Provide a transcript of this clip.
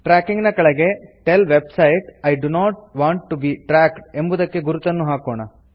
tracking ನ ಕೆಳಗೆ tell web sites I do not want to be tracked ಎಂಬುವುದಕ್ಕೆ ಗುರುತನ್ನು ಹಾಕೋಣ